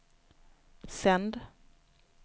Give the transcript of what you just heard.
sänd